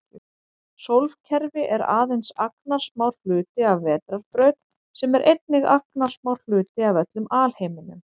Sólkerfi er aðeins agnarsmár hluti af vetrarbraut sem er einnig agnarsmár hluti af öllum alheiminum.